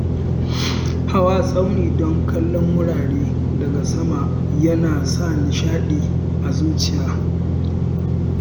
Hawa tsauni don kallon wurare daga sama yana sa nishadi a zuciya.